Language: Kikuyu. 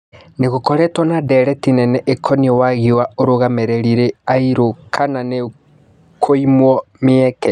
Nĩ gũkoretwo na ndereti nene ĩ koniĩ wagi wa arũgamĩ rĩ ri airũ kana nĩ kũimwo mĩ eke